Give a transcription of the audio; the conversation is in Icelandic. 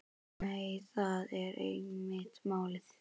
Nei, það er einmitt málið.